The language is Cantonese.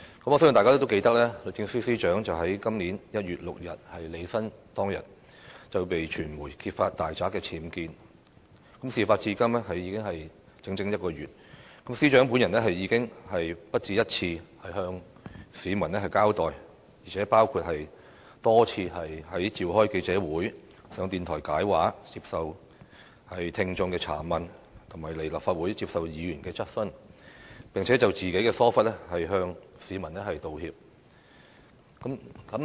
我相信大家都記得，律政司司長於今年1月6日履新當天，被傳媒揭發大宅僭建，事發至今已整整一個月，司長本人已不下一次向市民交代，包括多次召開記者會、上電台"解畫"、接受聽眾查問及來立法會接受議員質詢，並且就自己的疏忽，向市民道歉。